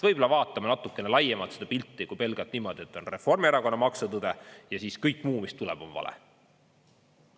Võib-olla vaatame natukene laiemalt seda pilti kui pelgalt niimoodi, et on Reformierakonna maksutõde, ja siis kõik muu, mis tuleb, on vale.